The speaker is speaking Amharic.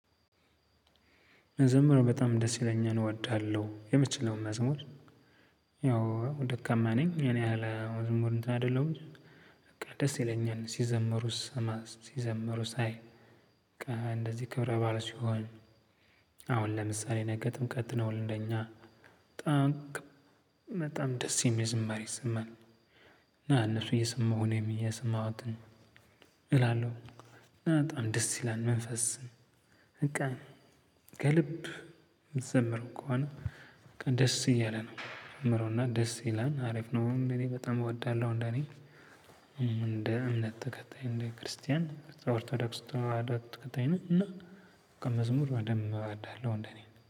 መዘመር በጣም ደስ ይለኛል እወዳለሁ የምችለውን መዝሙር ያው ደካማ ነኝ እኔ ያህል ብዙም እንትን አይደለሁም። በቃ ደስ ይለኛል ሲዘምሩ ስሰማ ሲዘምሩ ሳይ እንደዚህ ክብረ ባእል ሲሆን። አሁን ለምሳሌ ነገ ጥምቀት ነው ለኛ በጣም በጣም ደስ የሚል ዝማሬ ይሰማል። እና እነሱ እየሰማሁ የሰማሁትን እላለሁ። በጣም ደስ ይላል መንፈስን። በቃ ከልብ የምትዘምረው ከሆነ። በቃ ደስ እያለ ነው ጀምሮና ደስ ይላል አሪፍ ነው። እኔ በጣም እወዳለሁ እንደኔ። እንደ እምነት ተከታይ እንደ ክርስቲያን ኦርቶዶክስ ተዋህዶት ተከታይ ነው። እና መዝሙር በደንብ እወዳለሁ እንደ እኔ